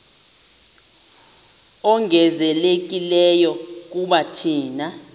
ongezelelekileyo kuba thina